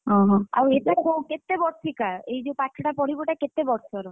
ଓହୋ ଆଉ ଏଇଟା କୋ କେତେ ବର୍ଷିକା ଏ ଯୋଉ ପାଠଟା ପଢିବୁ ଏଇଟା କେତେ ବର୍ଷର?